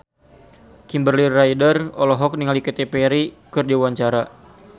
Kimberly Ryder olohok ningali Katy Perry keur diwawancara